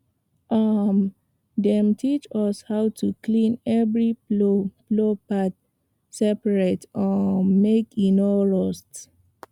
um dem teach us how to clean every plow plow part separate um make e no rust